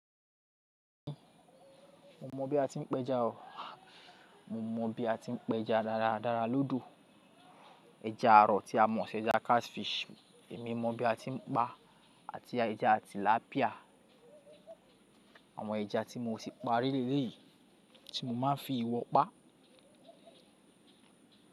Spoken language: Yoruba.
Mo mọ bí a ti ń pẹja, mo mọ bí a ti ń pẹja dáradára lódò ẹja àrọ̀ tí a mọ̀ sí ẹja catfish. Èmi mọ bí a ti ń pa àti ẹja tilapia. Àwọn ẹja tí mo ti parí léyìí tí mo máa ń fi ìwọ pa.